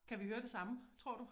Kan vi høre det samme tror du?